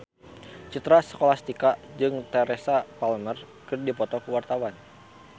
Citra Scholastika jeung Teresa Palmer keur dipoto ku wartawan